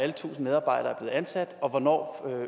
de tusind medarbejdere er blevet ansat og hvornår